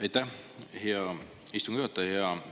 Aitäh, hea istungi juhataja!